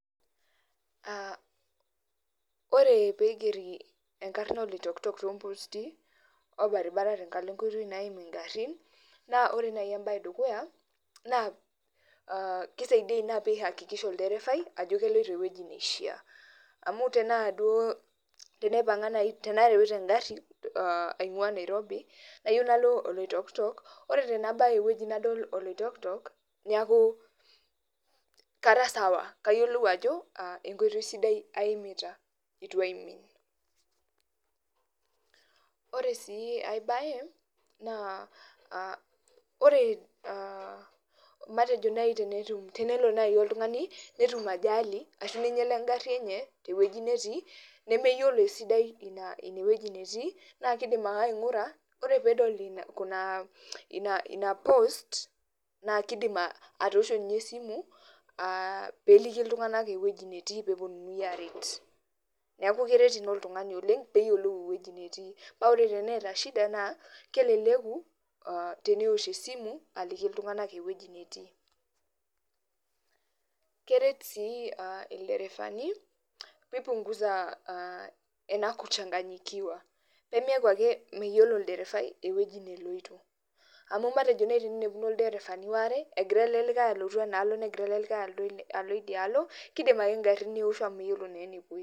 Ah ore pigeri enkarna Oloitoktok tomposti, orbaribara tenkalo enkoitoi naim igarrin, na ore nai ebae edukuya, naa kisaidia ina piakikisha olderefai, ajo keloito ewueji neishaa. Amu tenaa teneipang'a nai tenareuta egarri aing'ua Nairobi, nayieu nalo Oloitoktok, ore tenabaya ewoi nadol Oloitoktok, neeku kara sawa. Kayiolou ajo, enkoitoi sidai aimita itu aimin. Ore si ai bae, naa ore matejo nai tenetum tenelo nai oltung'ani, netum ajali, ashu neinyala egarri enye tewueji netii, nemeyiolo esidai inewueji netii, na kidim ake aing'ura, ore pedol ina post, na kidim atosho nye esimu, piliki iltung'anak ewueji netii peponunui aret. Neeku keret ina oltung'ani oleng, peyiolou ewueji netii. Pa ore teneeta shida naa, keleleku tenewosh esimu aliki iltung'anak ewueji netii. Keret si elderefani, pipunguza ena kuchanganyikiwa. Pemeeku ake meyiolo olderefai ewueji neloito. Amu matejo nai teninepuno ilderefani waare, egira ele likae alotu enaalo negira ele likae alo idialo, kidim ake garrin neosho amu meyiolo naa enepoito.